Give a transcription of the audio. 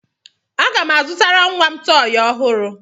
Aga m azụtara nwa m tọọyị ọhụrụ.